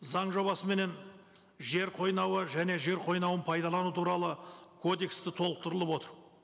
заң жобасыменен жер қойнауы және жер қойнауын пайдалану туралы кодекс те толықтырылып отыр